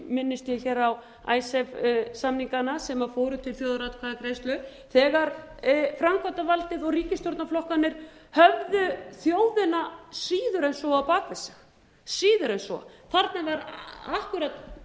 minnist ég hér á icesave samningana sem fóru til þjóðaratkvæðagreiðslu þegar framkvæmdavaldið og ríkisstjórnarflokkarnir höfðu þjóðina síður en svo á bak við sig síður en svo þarna var akkúrat